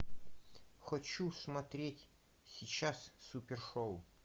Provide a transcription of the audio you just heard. хочу смотреть сейчас супер шоу